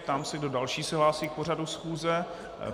Ptám se, kdo další se hlásí k pořadu schůze.